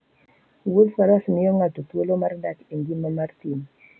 Wuodh faras miyo ng'ato thuolo mar dak e ngima mar thim.